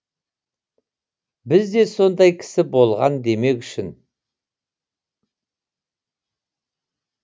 бізде де сондай кісі болған демек үшін